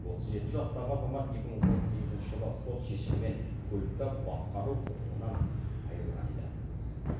отыз жеті жастағы азамат екі мың он сегізінші жылы сот шешімімен көлікті басқару құқығынан айырылған еді